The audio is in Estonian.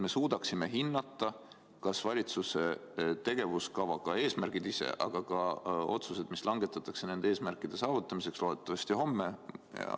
Me suudaksime seda teades hinnata, kas valitsuse tegevuskavaga eesmärgid ise, aga ka otsused, mis langetatakse nende eesmärkide saavutamiseks, on adekvaatseed või mitte.